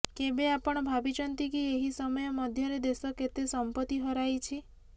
କେବେ ଆପଣ ଭାବିଛନ୍ତି କି ଏହି ସମୟ ମଧ୍ୟରେ ଦେଶ କେତେ ସମ୍ପତ୍ତି ହରାଇଛି